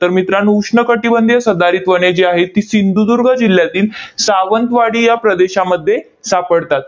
तर मित्रांनो, उष्ण कटिबंधीय सदाहरित वने जी आहेत, ती सिंधुदुर्ग जिल्ह्यातील सावंतवाडी या प्रदेशामध्ये सापडतात.